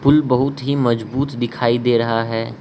पुल बहुत ही मजबूत दिखाई दे रहा है।